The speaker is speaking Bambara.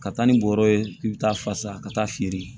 Ka taa ni bɔrɔ ye k'i bɛ taa fasa ka taa feere